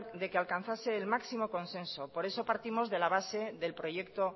de que alcanzase el máximo consenso por eso partimos de la base del proyecto